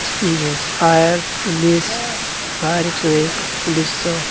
fire police fire एक सौ एक पुलिस --